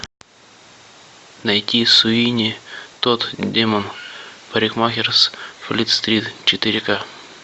найти суини тодд демон парикмахер с флит стрит четыре ка